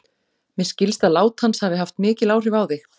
Mér skilst að lát hans hafi haft mikil áhrif á þig.